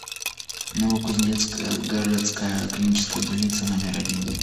новокузнецкая городская клиническая больница номер один